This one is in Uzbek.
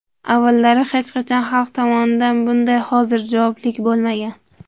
Avvallari hech qachon xalq tomonidan bunday hozirjavoblik bo‘lmagan.